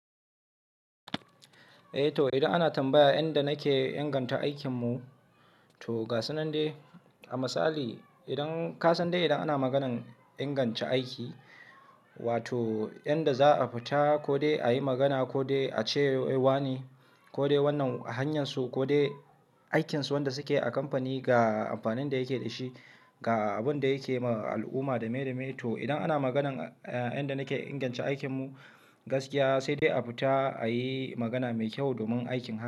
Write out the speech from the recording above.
Eh to idan ana tambaya inda nake inganta aikinmu, to ga sunan dai. A misali idan ka san dai idan ana maganan inganta aiki, wato inda za a fita ko dai a yi magana ko dai a ce wane ko dai wannan hanyarsu ko dai aikinsu wanda suke a kamfani ga amfanin da yake da shi, ga abin da yake ma al'umma da mai da mai. To idan ana maganan inda nake inganta aikinmu gaskiya sai dai a fita a yi magana mai kyau domin aikin haka.